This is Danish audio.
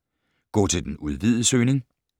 Gå til den udvidede søgning